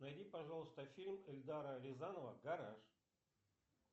найди пожалуйста фильм эльдара рязанова гараж